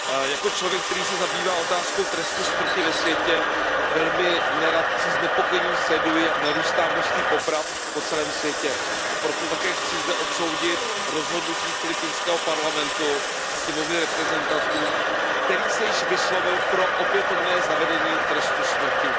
Jako člověk, který se zabývá otázkou trestu smrti ve světě, velmi nerad a se znepokojením sleduji, jak narůstá množství poprav po celém světě, a proto také chci zde odsoudit rozhodnutí filipínského parlamentu, Sněmovny reprezentantů, který se již vyslovil pro opětovné zavedení trestu smrti.